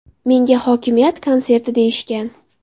Menga hokimiyat konserti deyishgan.